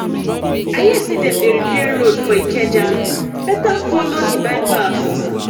i hear say dem dey repair road for ikeja better follow di bypass